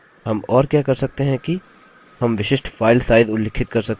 हम और क्या कर सकते हैं कि हम विशिष्ट फाइल साइज उल्लिखित कर सकते हैं